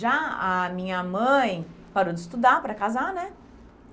Já a minha mãe parou de estudar para casar, né?